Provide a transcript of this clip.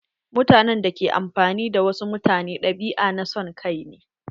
Mutanen da ke amfani da wasu mutane ɗabi'a na son kai ne.